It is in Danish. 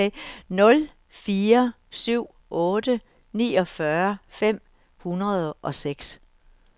nul fire syv otte niogfyrre fem hundrede og seks